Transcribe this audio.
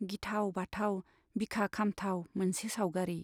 गिथाव बाथाव, बिखा खामथाव मोनसे सावगारी।